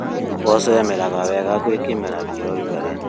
Mboco imeraga wega gwĩ kĩmera kĩa ũrugarĩ